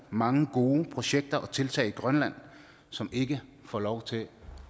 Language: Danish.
mange gode projekter og tiltag i grønland som ikke får lov til